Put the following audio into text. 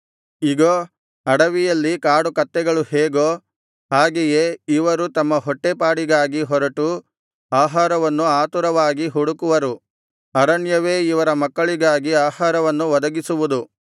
ಇಗೋ ಅಡವಿಯಲ್ಲಿ ಕಾಡುಕತ್ತೆಗಳು ಹೇಗೋ ಹಾಗೆಯೇ ಇವರು ತಮ್ಮ ಹೊಟ್ಟೇ ಪಾಡಿಗಾಗಿ ಹೊರಟು ಆಹಾರವನ್ನು ಆತುರವಾಗಿ ಹುಡುಕುವರು ಅರಣ್ಯವೇ ಇವರ ಮಕ್ಕಳಿಗಾಗಿ ಆಹಾರವನ್ನು ಒದಗಿಸುವುದು